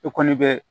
I kɔni bɛ